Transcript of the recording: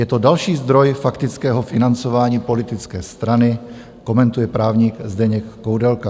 Je to další zdroj faktického financování politické strany, komentuje právník Zdeněk Koudelka.